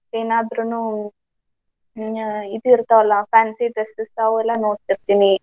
ಅದಕೆನಾದ್ರೂನು ಅಹ್ ಇದು ಇರ್ತಾವಲ್ಲಾ fancy dresses ಅವೆಲ್ಲಾ ನೋಡ್ತಿರ್ತೀನಿ.